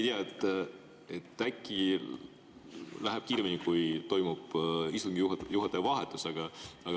Ma ei tea, äkki läheb kiiremini, kui toimub istungi juhataja vahetus.